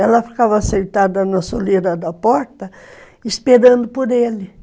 Ela ficava sentada na soleira da porta, esperando por ele.